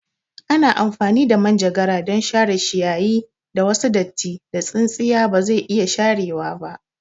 Ana amfani da manjagara don share shiyayi da wasu dattin da tsintsiya bazai iya sharewa ba